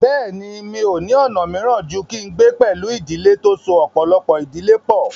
Bẹ́ẹ̀ni, mi ò ní ọ̀nà míràn ju kí n gbé pẹ̀lú ìdílé tó so ọ̀pọ̀lọpọ̀ ìdílé pọ̀